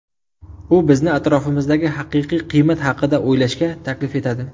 U bizni atrofimizdagi haqiqiy qiymat haqida o‘ylashga taklif etadi.